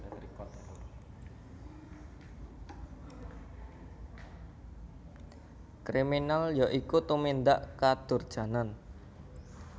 Kriminal ya iku tumindak kadurjanan